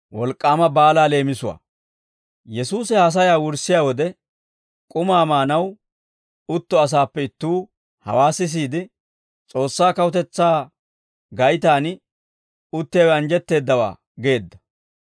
Yesuusi haasayaa wurssiyaa wode, k'umaa maanaw utto asaappe ittuu hawaa sisiide, «S'oossaa kawutetsaa gaytaan uttiyaawe anjjetteeddawaa» geedda.